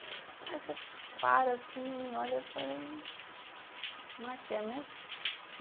Aí você para assim, olha, eu falei, não é que é mesmo?